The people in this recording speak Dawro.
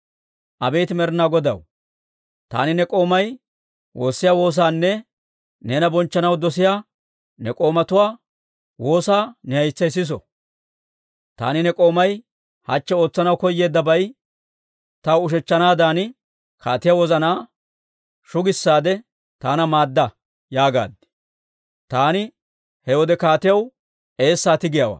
Abeet Med'etaa Godaw, taani ne k'oomay woossiyaa woosaanne neena bonchchanaw dosiyaa, ne k'oomatuwaa woosaa ne haytsay siso. Taani ne k'oomay hachche ootsanaw koyeeddabay taw ushechchanaadan, kaatiyaa wozanaa shugissaade taana maadda» yaagaad. Taani he wode kaatiyaw eessaa tigiyaawaa.